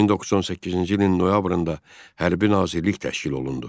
1918-ci ilin noyabrında hərbi nazirlik təşkil olundu.